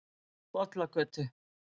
Bollagötu